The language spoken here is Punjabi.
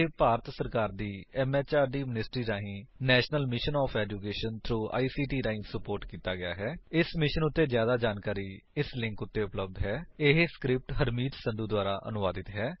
ਇਹ ਭਾਰਤ ਸਰਕਾਰ ਦੀ ਐਮਐਚਆਰਡੀ ਮਿਨਿਸਟ੍ਰੀ ਰਾਹੀਂ national mission of education through ICT ਦੁਆਰਾ ਸੁਪੋਰਟ ਕੀਤਾ ਗਿਆ ਹੈ ਇਸ ਮਿਸ਼ਨ ਉੱਤੇ ਜਿਆਦਾ ਜਾਣਕਾਰੀ ਇਸ ਲਿੰਕ ਉੱਤੇ ਉਪਲੱਬਧ ਹੈ spoken hyphen tutorial dot org slash NMEICT hyphen intro ਇਹ ਸਕਰਿਪਟ ਹਰਮੀਤ ਸੰਧੂ ਦੁਆਰਾ ਅਨੁਵਾਦਿਤ ਹੈ